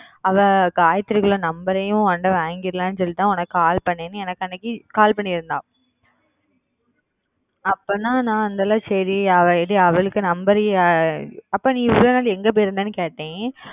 அவ gayathri குல number ஐயும் உங்கிட்ட வாங்கிடலாம்னு சொல்ட்டுதா உனக்கு call பண்ணணு எனக்கு அன்னைக்கு call பண்ணிருந்த அப்பத்தா நா அந்தாள சேரி அவ ஏடி அவளுக்கு number க்கு அப்ப நீ இவளோ நாள் எங்க போயிருந்தனு கேட்டன்